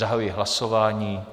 Zahajuji hlasování.